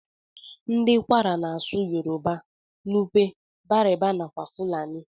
Ndi kwara na asụ yoruba, nupe, bariba nakwa fulani.